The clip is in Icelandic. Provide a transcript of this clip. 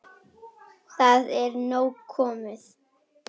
Það er nóg komið.